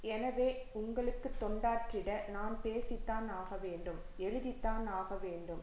எனவே உங்களுக்கு தொண்டாற்றிட நான் பேசிதான் ஆகவேண்டும் எழுதிதான் ஆகவேண்டும்